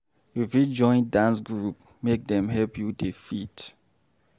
You fit join dance group make dem help you dey fit.